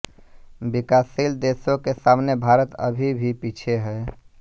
विकासशील देशों के सामने भारत अभी भी पीछे है